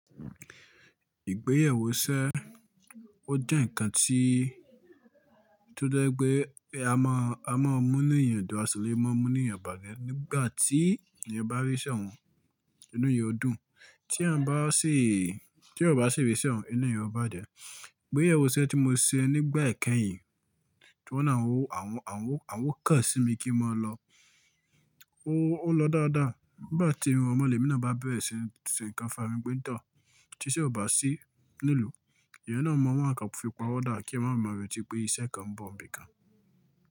Ìgbéyàwó sẹ́, ó jẹ́ ǹkan tí tó jẹ́ pé a máa, a máa mú nu eeyan dún àṣilé, máa mú nu eeyan bajẹ́ nígbà tí ènìyàn bá ríṣẹ̀ un ínú eeyan o dùn. Tí èèyàn bá sì, tí ọba sì ríṣẹ̀ un, inú èèyàn o bá jẹ́. Ìgbéyewó isẹ́ tí mo ṣe nígbà ẹ̀kẹyìn, tí wọ́n à ń wó àwọn, àwọn, àwọn o kan sí mi kí n máa lọ. Ó lọ dáadáa. Nígbà tí ọ rọrun mo lemi naa bá bẹ̀rẹ̀si ṣe ǹkan fun'ra mi pe tọ̀h, tí ṣe ò bá sí nílùú, èèyàn náà ọ̀ máa wa nkàn fi pawọ́ dá kí n máa ba reti pé iṣẹ́ kan ń bọ̀ ń bí i kan.